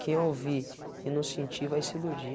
Quem ouvir e não sentir vai se iludir.